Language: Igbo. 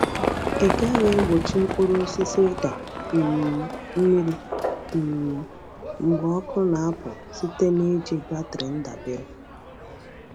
Ị ga-egbochi mkpụrụ osisi ịda um mmiri um mgbe ọkụ na-apụ site n’iji batrị ndabere.